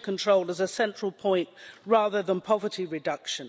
control as a central point rather than poverty reduction.